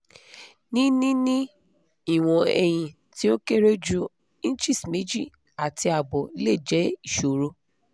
ni nini iwọn ẹyin ti o kere ju inches meji ati abo le jẹ iṣoro